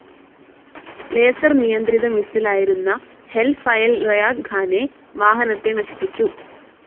Laser നിയന്ത്രിത മിസ്സിലായിരുന്ന Hellfire Reyaad ഖാനെ വാഹനത്തെ നശിപ്പിച്ചു.